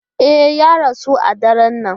E, ya rasu a daren nan.